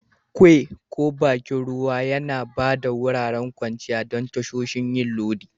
Quay ko bakin ruwa Yana ba da wuraren kwanciya don tasoshin yin lodi